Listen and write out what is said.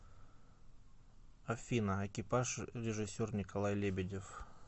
афина экипаж режиссер николай лебедев